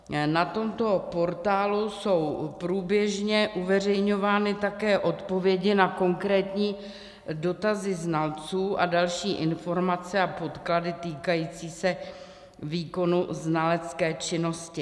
Na tomto portálu jsou průběžně uveřejňovány také odpovědi na konkrétní dotazy znalců a další informace a podklady týkající se výkonu znalecké činnosti.